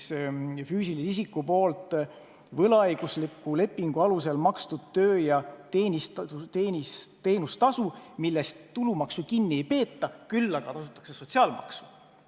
See kirje on füüsilise isiku poolt võlaõigusliku lepingu alusel makstud töö- ja teenustasu, millest tulumaksu kinni ei peeta, küll aga tasutakse sotsiaalmaksu.